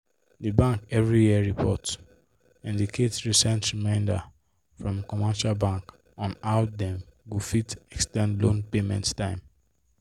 the bank every year report indicate recent remainder from commercial bank on how dem go fit ex ten d loan payment time